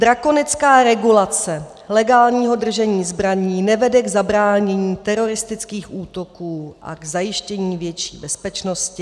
Drakonická regulace legálního držení zbraní nevede k zabránění teroristickým útokům a k zajištění větší bezpečnosti.